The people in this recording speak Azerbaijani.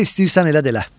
Nə istəyirsən elə, elə.